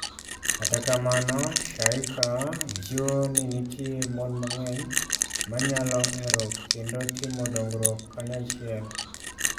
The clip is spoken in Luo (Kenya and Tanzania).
Kata kamano, Shaykaa jiwo ni nitie mon mang'eny ma nyalo hero kendo timo dongruok kanyachiel.